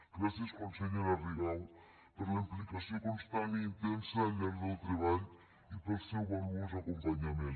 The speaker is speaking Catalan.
gràcies consellera rigau per la implicació constant i intensa al llarg del treball i pel seu valuós acompanyament